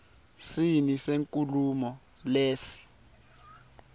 sini senkhulumo lesi